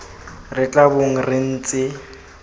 re tla bong re ntse